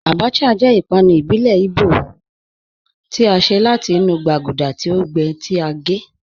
Àbàchà jẹ́ ìpànù ìbílẹ̀ Ìgbò tí a ṣẹ̀ láti inú gbàgúdà tí o gbẹ́, tí a gẹ́